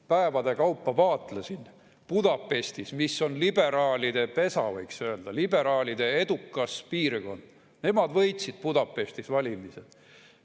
Päevade kaupa vaatlesin Budapestis, mis on liberaalide pesa, võiks öelda, liberaalide edukas piirkond – nemad võitsid Budapestis valimised.